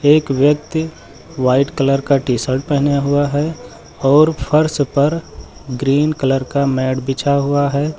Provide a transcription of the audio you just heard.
एक व्यक्ति white colour का टी शर्ट पहने हुआ है और फर्श पर ग्रीन कलर का मैट बिछा हुआ है।